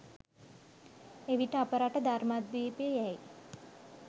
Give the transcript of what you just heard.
එවිට අප රට ධර්මද්වීපය යැයි